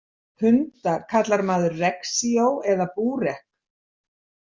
Hunda kallar maður Reksio eða Burek.